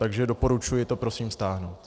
Takže doporučuji to prosím stáhnout.